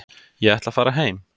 Ég ætla að fara heim.